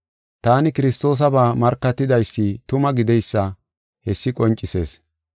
Taani Kiristoosaba markatidaysi tuma gideysa hessi qoncisees.